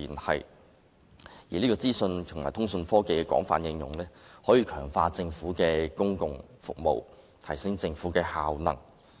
同時，資訊和通訊科技的廣泛應用，可強化政府提供的公共服務，提升政府效能，